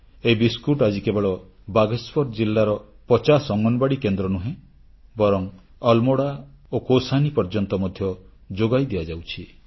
ଏହି ବିସ୍କୁଟ ଆଜି କେବଳ ବାଗେଶ୍ୱର ଜିଲ୍ଲାର ପଚାଶ ଅଙ୍ଗନବାଡ଼ି କେନ୍ଦ୍ର ନୁହେଁ ବରଂ ଆଲମୋଡ଼ା ଓ କୌସାନୀ ପର୍ଯ୍ୟନ୍ତ ମଧ୍ୟ ଯୋଗାଇ ଦିଆଯାଉଛି